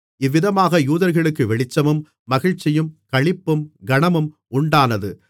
இவ்விதமாக யூதர்களுக்கு வெளிச்சமும் மகிழ்ச்சியும் களிப்பும் கனமும் உண்டானது